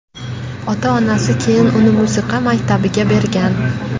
Ota-onasi keyin uni musiqa maktabiga bergan.